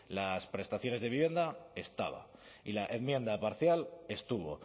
las prestaciones de vivienda estaba y la enmienda parcial estuvo